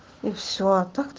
и все а так